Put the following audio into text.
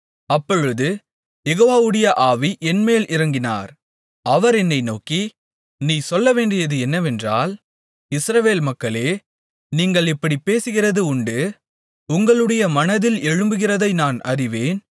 அப்பொழுது யெகோவாவுடைய ஆவி என்மேல் இறங்கினார் அவர் என்னை நோக்கி நீ சொல்லவேண்டியது என்னவென்றால் இஸ்ரவேல் மக்களே நீங்கள் இப்படிப் பேசுகிறது உண்டு உங்களுடைய மனதில் எழும்புகிறதை நான் அறிவேன்